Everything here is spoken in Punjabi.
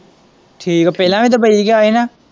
ਠੀਕ ਏ ਪਹਿਲਾਂ ਵੀ ਦੁੱਬਈ ਗਿਆ ਹੀ ਨਾ।